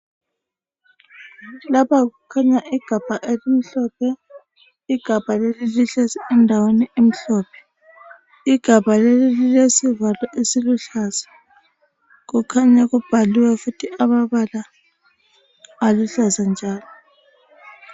Lapha kukhanya igabha elimhlophe, igabha leli lihlezi endaweni emhlophe, igabha leli lelesivalo esiluhlaza kukhanya kubhaliwe futhi amabala aluhlaza njalo.